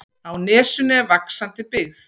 Á nesinu er vaxandi byggð.